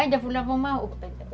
Ainda vou lavar uma roupa